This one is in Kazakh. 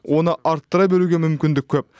оны арттыра беруге мүмкіндік көп